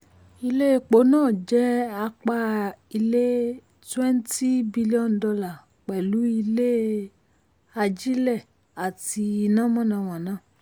ilé epo náà jẹ́ apá ilé twenty billion dollar pẹ̀lú ile um ajílẹ̀ àti iná mànàmáná.